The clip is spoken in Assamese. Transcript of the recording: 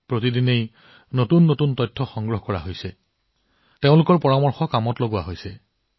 প্ৰতিদিনে তেওঁলোকে নতুন তথ্য লাভ কৰি আছে তেওঁলোকৰ পৰামৰ্শবোৰ নিৰ্ধাৰণ কৰা হৈছে